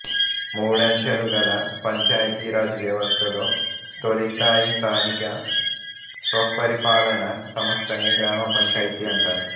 మూడంచెలుగల పంచాయితీరాజ్ వ్యవస్థలో తొలి స్థాయి స్థానిక స్వపరిపాలనా సంస్థనే గ్రామ పంచాయితీ అంటారు